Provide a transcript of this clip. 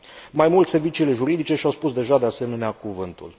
Mai mult, serviciile juridice și au spus deja, de asemenea, cuvântul.